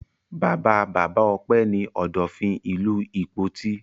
Bàbá-bàbá Ọpẹ́ ní Ọ̀dọ̀fin ìlú Ìpoti.